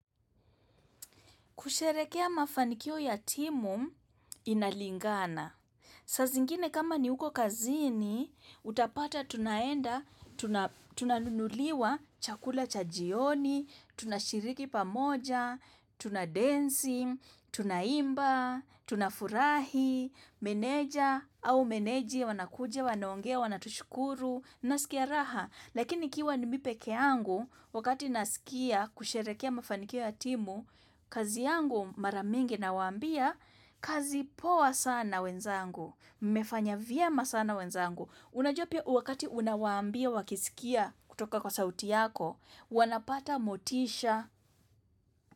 Kusherekea mafanikio ya timu inalingana. Saa zingine kama ni huko kazini, utapata tunaenda, tuna tunanunuliwa chakula cha jioni, tunashiriki pamoja, tunadensi, tunaimba, tuna furahi, meneja au meneji wanakuja, wanaongea, wanatushukuru, nasikia raha. Lakini ikiwa ni mi peke yangu wakati nasikia kusherekea mafanikio ya timu, kazi yangu mara mingi nawaambia kazi poa sana wenzangu, mefanya vyema sana wenzangu. Unajua pia wakati unawaambia wakisikia kutoka kwa sauti yako, wanapata motisha.